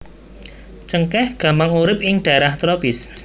Cengkèh gampang urip ing dhaerah tropis